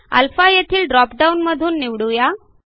α येथील ड्रॉपडाऊन मधून निवडू या